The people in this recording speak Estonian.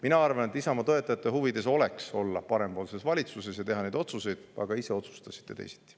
Mina arvan, et Isamaa toetajate huvides oleks see, kui te oleks parempoolses valitsuses ja teeks otsuseid, aga ise otsustasite teisiti.